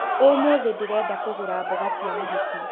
Ũmũthĩ ndĩrenda kũgũra mboga cia mahũti